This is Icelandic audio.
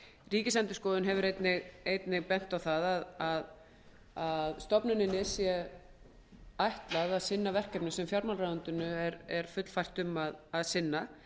ríkisendurskoðun hefur einnig bent á það að stofnuninni sé ætlað að sinna verkefnum sem fjármálaráðuneytið er fullfært um að sinna